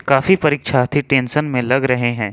काफी परीक्षार्थी टेंशन में लग रहे हैं।